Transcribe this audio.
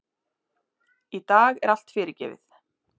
Í dag er allt fyrirgefið.